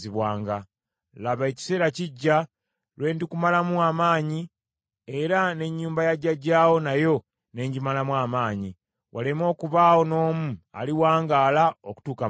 Laba ekiseera kijja lwe ndikumalamu amaanyi era n’ennyumba ya jjajjaawo nayo ne ngimalamu amaanyi, waleme okubaawo n’omu aliwangaala okutuuka mu bukadde,